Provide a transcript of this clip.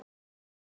Eða tvær.